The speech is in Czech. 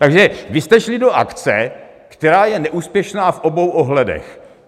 Takže vy jste šli do akce, která je neúspěšná v obou ohledech.